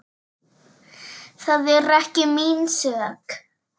Það er ekki mín sök.